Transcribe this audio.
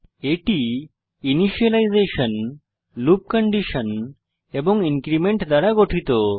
এটি initialization loop condition এবং increment দ্বারা গঠিত